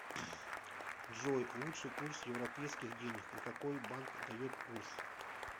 джой лучший курс европейских денег и какой банк дает курс